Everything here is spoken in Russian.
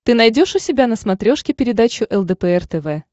ты найдешь у себя на смотрешке передачу лдпр тв